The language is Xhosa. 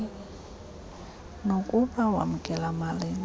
nokuba wamkela malini